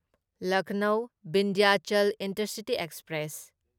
Lucknow Vindhyachal intercity express